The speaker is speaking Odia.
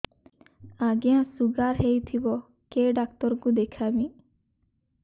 ଆଜ୍ଞା ଶୁଗାର ହେଇଥିବ କେ ଡାକ୍ତର କୁ ଦେଖାମି